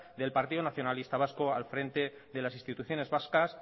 del partido nacionalista vasco al frente de las instituciones vascas